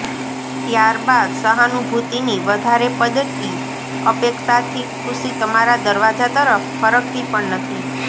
ત્યાર બાદ સહાનુભૂતિની વધારે પડતી અપેક્ષાથી ખુશી તમારા દરવાજા તરફ ફરકતી પણ નથી